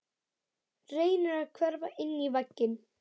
Reynir að hverfa inn í vegginn.